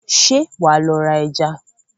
Ṣé wàá lọ ra ẹja?